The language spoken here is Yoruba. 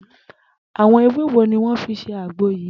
Àwo̩n ewé wo ni wó̩n fi s̩e àgbo yìí